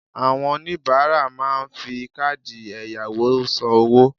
Àwon oníbáárà máa n fi káàdì èyàwò san owó